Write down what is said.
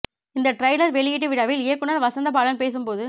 இந்த ட்ரைலர் வெளியீட்டு விழாவில் இயக்குனர் வசந்த பாலன் பேசும் போது